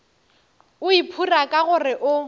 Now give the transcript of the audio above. o iphora ka gore o